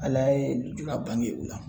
Ala ye lujura bange u la